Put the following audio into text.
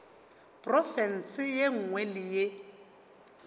profense ye nngwe le ye